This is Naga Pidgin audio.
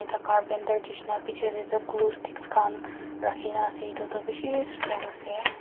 The carpenter nehsina bechidae dae tuh glue sticks khan rakhina ase etu tuh beshi strong ase.